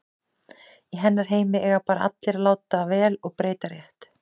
Í hennar heimi eiga bara allir að láta vel og breyta rétt.